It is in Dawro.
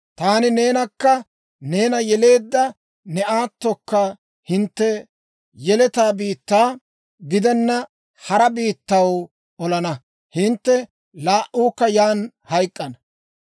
Taani neenakka neena yeleedda ne aatokka hintte yeletaa biittaa gidenna hara biittaw olana; hintte laa"uukka yaan hayk'k'ana.